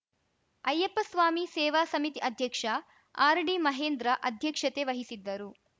ಅಯ್ಯಪ್ಪಸ್ವಾಮಿ ಸೇವಾ ಸಮಿತಿ ಅಧ್ಯಕ್ಷ ಆರ್‌ಡಿ ಮಹೇಂದ್ರ ಅಧ್ಯಕ್ಷತೆ ವಹಿಸಿದ್ದರು